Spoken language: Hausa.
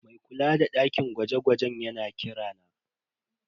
Mai kula da dakin gwaje-gwajen yana kira na.